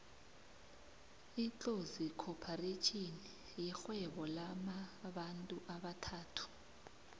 itlozi khopharetjhini yirhvuebo lamabantu abathathu